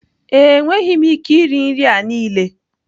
ee, enweghị m ike iri nri a niile.